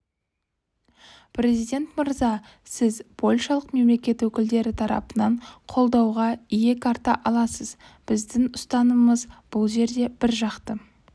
президент мырза сіз польшалық мемлекет өкілдері тарапынан қолдауға иек арта аласыз біздің ұстанымымыз бұл жерде біржақты